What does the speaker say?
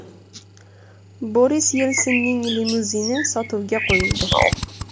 Boris Yelsinning limuzini sotuvga qo‘yildi.